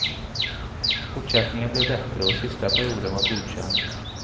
Fortsättningen blev bättre och sista perioden var godkänd.